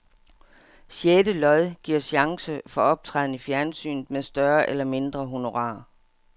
Sjette lod giver chance for optræden i fjernsynet med større eller mindre honorar.